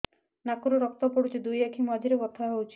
ନାକରୁ ରକ୍ତ ପଡୁଛି ଦୁଇ ଆଖି ମଝିରେ ବଥା ହଉଚି